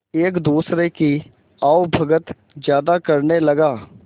एक दूसरे की आवभगत ज्यादा करने लगा